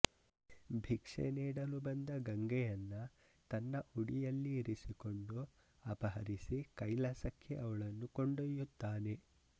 ಭಿಕ್ಷೆ ನೀಡಲು ಬಂದ ಗಂಗೆಯನ್ನ ತನ್ನ ಉಡಿಯಲ್ಲಿ ಇರಿಸಿಕೊಂಡು ಅಪಹರಿಸಿ ಕೈಲಾಸಕ್ಕೆ ಅವಳನ್ನು ಕೊಂಡೊಯ್ಯುತ್ತಾನೆ